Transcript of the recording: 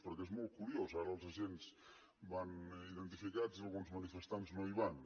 perquè és molt curiós ara els agents van identificats i alguns manifestants no hi van